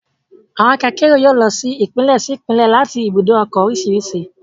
Àwọn ọkọ akérò yóò lọ sí Ìpínlẹ̀ sí Ìpínlẹ̀ láti ibùdó ọkọ̀ oríṣiríṣi